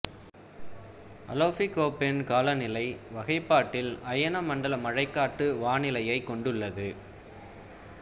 Alofi Koppen காலநிலை வகைப்பாட்டில் அயன மண்டல மழைக்காட்டு வானிலையைக் கொண்டுள்ளது